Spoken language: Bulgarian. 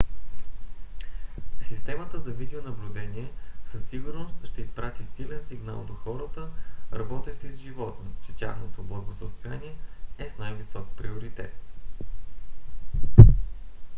"системата за видеонаблюдение със сигурност ще изпрати силен сигнал до хората работещи с животни че тяхното благосъстояние е с най-висок приоритет